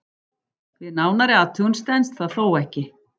Við nánari athugun stenst það þó ekki.